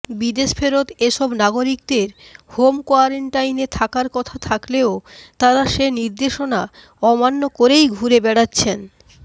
বিদেশফেরত এসব নাগরিকদের হোম কোয়ারেন্টাইনে থাকার কথা থাকলেও তারা সে নির্দেশনা অমান্য করেই ঘুরে বেড়াচ্ছেন